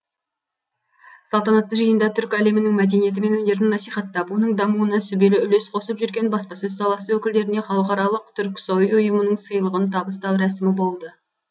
салтанатты жиында түркі әлемінің мәдениеті мен өнерін насихаттап оның дамуына сүбелі үлес қосып жүрген баспасөз саласы өкілдеріне халықаралық түрксои ұйымының сыйлығын табыстау рәсімі болды